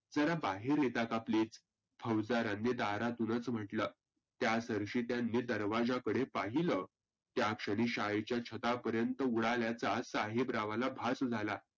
जरा बाहेर येता का please फौजदारानी दारातूनच म्हटलं. त्या सरशी त्यांनी दरवाजाकडे पाहीलं त्याच क्षनी शाळेच्या छता पर्यंत उडाल्याचा साहेबरावांना भास झाला.